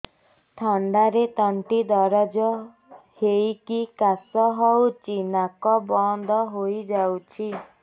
ଥଣ୍ଡାରେ ତଣ୍ଟି ଦରଜ ହେଇକି କାଶ ହଉଚି ନାକ ବନ୍ଦ ହୋଇଯାଉଛି